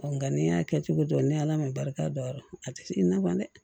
nka n'i y'a kɛ cogo dɔn ni ala ma barika da a tɛ se nafan dɛ